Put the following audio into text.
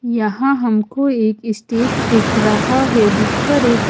यहां हमको एक स्टेज दिख रहा है जिस पर एक--